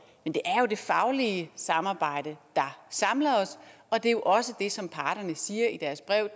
men det er jo det faglige samarbejde der samler os og det er også det som parterne siger i deres brev